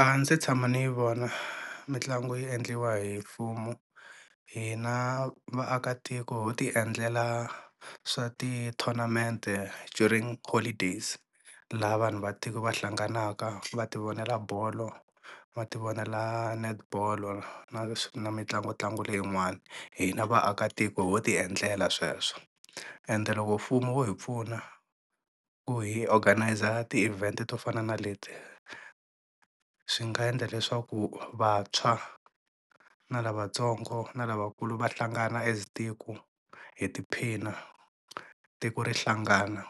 A ndzi tshama ndzi yi vona mitlangu yi endliwa hi mfumo hina vaakatiko ho tiendlela swa ti-tournament during holidays laha vanhu va tiko vahlanganaka va ti vonela bolo, va ti vonela netball na na mitlangu ntlangu leyin'wana hina vaakatiko ho tiendlela sweswo, ende loko mfumo wo hi pfuna ku hi organise ti-event to fana na leti swi nga endla leswaku vantshwa na lavatsongo na lavakulu va hlangana as tiko hi tiphina tiko ri hlangana